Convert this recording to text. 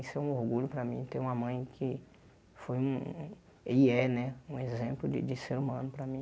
Isso é um orgulho para mim ter uma mãe que foi um e é né um exemplo de de ser humano para mim.